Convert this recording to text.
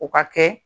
O ka kɛ